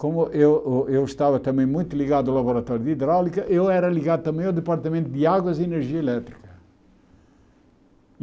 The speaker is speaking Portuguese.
Como eu ô eu estava também muito ligado ao Laboratório de Hidráulica, eu era ligado também ao Departamento de Águas e Energia Elétrica.